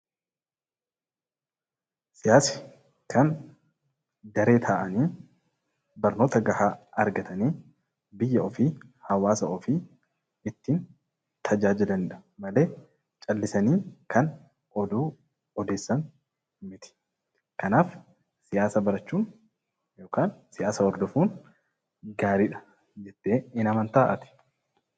Siyaasni; Kan daree ta'ani barnoota ga'a argataanni biyya ofii, hawaasa ofii ittin taajajilaanidha malee caallisani Kan oduu ooddeessan miti. Kanaaf siyaasa baraachuun yookan siyaasa hordoofun gaariidha jette hin amantaa ati?